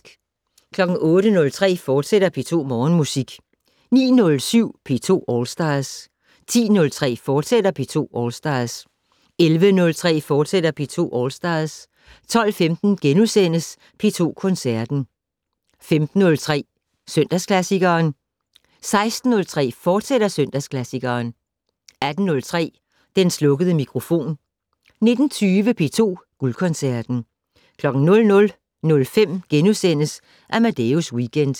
08:03: P2 Morgenmusik, fortsat 09:07: P2 All Stars 10:03: P2 All Stars, fortsat 11:03: P2 All Stars, fortsat 12:15: P2 Koncerten * 15:03: Søndagsklassikeren 16:03: Søndagsklassikeren, fortsat 18:03: Den slukkede mikrofon 19:20: P2 Guldkoncerten 00:05: Amadeus Weekend *